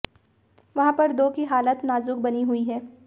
वहां पर दो की हालत नाजुक बनी हुई है